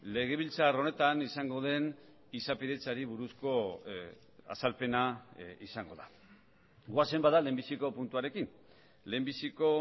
legebiltzar honetan izango den izapidetzari buruzko azalpena izango da goazen bada lehenbiziko puntuarekin lehenbiziko